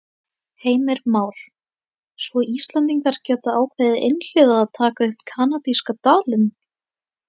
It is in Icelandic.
Heimir Már: Svo Íslendingar geta ákveðið einhliða að taka upp kanadíska dalinn?